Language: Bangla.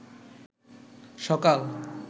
সকাল